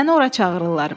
Səni ora çağırırlar.